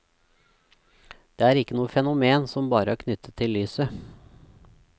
Det er ikke noe fenomen som bare er knyttet til lyset.